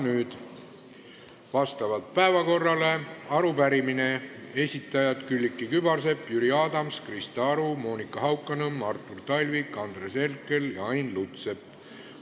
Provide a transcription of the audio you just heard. Nüüd on vastavalt päevakorrale arupärimine, mille esitajad on Külliki Kübarsepp, Jüri Adams, Krista Aru, Monika Haukanõmm, Artur Talvik, Andres Herkel ja Ain Lutsepp.